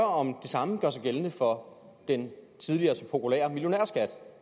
om det samme gør sig gældende for den tidligere så populære millionærskat